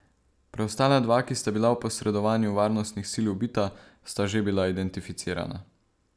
Preostala dva, ki sta bila v posredovanju varnostnih sil ubita, sta že bila identificirana.